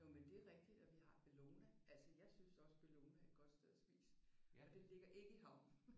Jo men det er rigtigt. Og vi har Bellona. Altså jeg synes også Bellona er et godt sted at spise og det ligger ikke i havnen